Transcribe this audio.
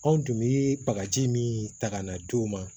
Anw tun bɛ bagaji min ta ka na d'o ma